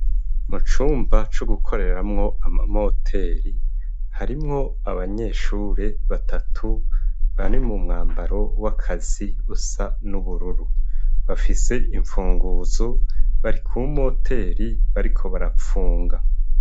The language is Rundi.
Mu cumba co gukoreramwo ama moteri, harimwo abanyeshure batatu bari mu mwambaro w'akazi usa n'ubururu bafise imfunguzo. Bari ku moteri bariko barapfunga.